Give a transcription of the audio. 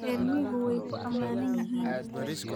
Reer miyigu way ku amaanan yihiin